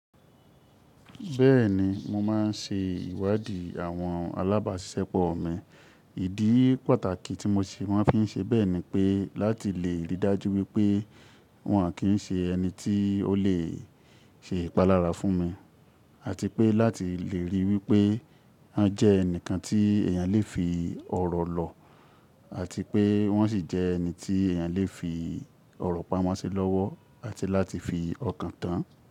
Bẹ́ẹ̀ni, mo máa ń se ìwádìí àwọn alábáṣiṣẹpọ̀ mi. Ìdí pàtàkì tí mo ṣe mọ́n fi ń ṣe bẹ́ẹ̀ ni pé láti lè rí i dájú wípé wọn kí ń ṣe ẹni tí ó lè ṣe ìpalára fún mi àti pé láti lè rí i wípé wọ́n jẹ́ ẹnìkan tí èèyàn lè fi ọ̀rọ̀ lọ àti pé wọ́n sì jẹ ẹni tí èèyàn lè fi ọ̀rọ̀ pamọ́ sí lọ́wọ́ àti láti fi ọkàn tán.